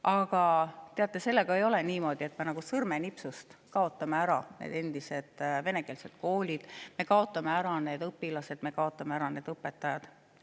Aga teate, sellega ei ole niimoodi, et me nagu sõrmenipsust saame ära kaotada need endised venekeelsed koolid, need õpilased ja õpetajad.